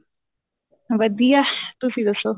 ਵਧੀਆ ਤੁਸੀਂ ਦੱਸੋ